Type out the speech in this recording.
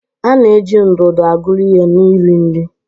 A na-eji ndụdụ aguru ihe na iri nri.